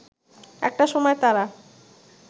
একটা সময় তারা